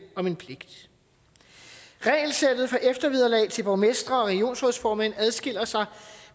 om en pligt regelsættet for eftervederlag til borgmestre og regionsrådsformænd adskiller sig